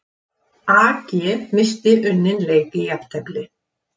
AG missti unninn leik í jafntefli